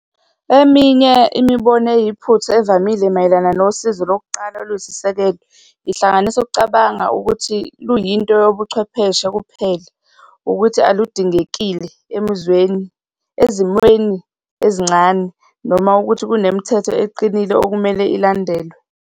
Eminye imibono eyiphutha evamile mayelana nosizo lokuqala oluyisisekelo lihlanganisa ukucabanga ukuthi luyinto yobuchwepheshe kuphela, ukuthi aludingekile emizweni, ezimweni ezincane, noma ukuthi kunemithetho eqinile okumele ilandelwe.